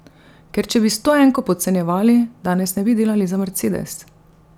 Ker če bi stoenko podcenjevali, danes ne bi delali za Mercedes.